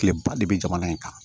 Kileba de bɛ jamana in kan